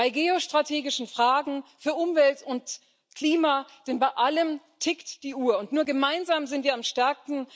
Bei geostrategischen Fragen, bei Umwelt und Klima, denn bei allem tickt die Uhr, und nur gemeinsam sind wir stark.